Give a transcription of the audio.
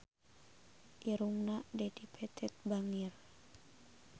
Irungna Dedi Petet bangir